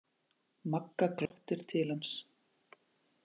Magga glottir til hans.